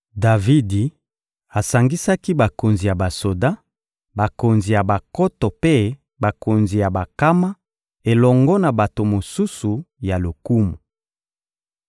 Davidi asangisaki bakonzi ya basoda, bakonzi ya bankoto mpe bakonzi ya bankama elongo na bato mosusu ya lokumu.